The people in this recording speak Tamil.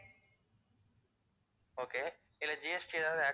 okay இல்ல, GST ஏதாவது add